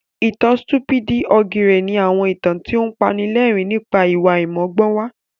Ìtàn Sítúpídì ògìrè ni àwọn ìtàn tó apanilẹ́rìn nípa ìwà àìmọ́gbọ́nwá